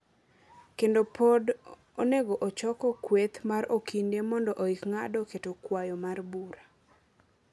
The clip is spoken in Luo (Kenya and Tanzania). kendo pod onego ochoko kweth mar okinde mondo oik ng’ado keto kwayo mar bura.